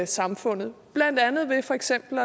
samfundet for eksempel